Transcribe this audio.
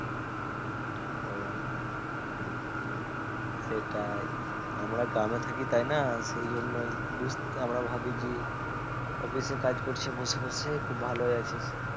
ও সেটাই আমরা গ্রামে থাকি তাই না সেজন্যই বুঝ আমরা ভাবি কি office এ কাজ করছে বসে বসে খুব ভালোই আছিস